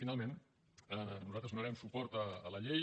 finalment nosaltres donarem suport a la llei